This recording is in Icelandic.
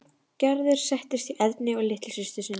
Gerður settist hjá Erni og litlu systur sinni.